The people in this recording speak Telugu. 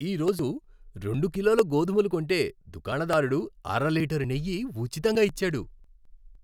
ఈ రోజు రెండు కిలోల గోధుమలు కొంటే దుకాణదారుడు అర లీటరు నెయ్యి ఉచితంగా ఇచ్చాడు.